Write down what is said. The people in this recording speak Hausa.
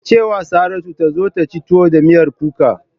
Ki ce wa Saratu ta zo ta ci tuwo da miyar kuka!